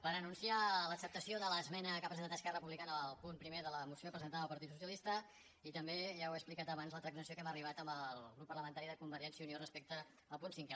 per anunciar l’acceptació de l’es·mena que ha presentat esquerra republicana al punt primer de la moció presentada pel partit socialista i també ja ho he explicat abans la transacció a què hem arribat amb el grup parlamentari de convergèn·cia i unió respecte al punt cinquè